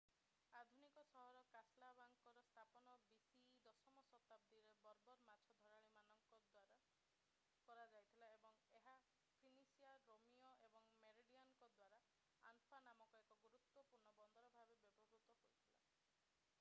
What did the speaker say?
ଆଧୁନିକ ସହର କାସାବ୍ଲାଙ୍କାର ସ୍ଥାପନ bce 10ମ ଶତାବ୍ଦୀରେ ବର୍ବର୍ ମାଛ ଧରାଳୀମାନଙ୍କ ଦ୍ୱାରା କରାଯାଇଥିଲା ଏବଂ ଏହା ଫିନିସିଆନ୍ ରୋମୀୟ ଏବଂ ମେରେନିଡ୍‌ମାନଙ୍କ ଦ୍ୱାରା ଆନଫା ନାମକ ଏକ ଗୁରୁତ୍ୱପୂର୍ଣ୍ଣ ବନ୍ଦର ଭାବେ ବ୍ୟବହୃତ ହୋଇଥିଲା।